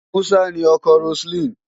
Musa ni ọkọ Roseline.